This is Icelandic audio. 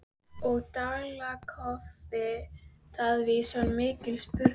Og Dalakofi Davíðs var mikið sunginn.